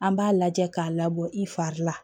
An b'a lajɛ k'a labɔ i fari la